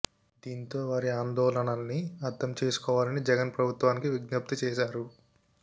దీంతో వారి ఆందోళనల్ని అర్థం చేసుకోవాలని జగన్ ప్రభుత్వానికి విజ్ఞప్తి చేశారు